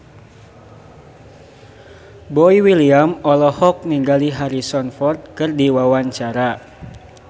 Boy William olohok ningali Harrison Ford keur diwawancara